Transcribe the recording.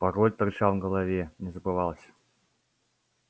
пароль торчал в голове не забывался